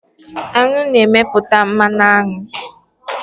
Aṅụ na-emepụta mmanụ aṅụ.